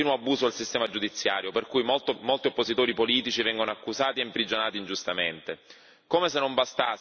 Si assiste inoltre ad un continuo abuso del sistema giudiziario per cui molti oppositori politici vengono accusati e imprigionati ingiustamente.